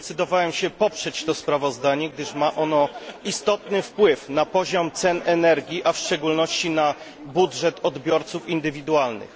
Zdecydowałem się poprzeć to sprawozdanie, gdyż ma ono istotny wpływ na poziom cen energii, a w szczególności na budżet odbiorców indywidualnych.